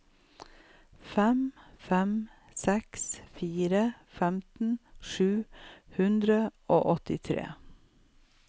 fem fem seks fire femten sju hundre og åttitre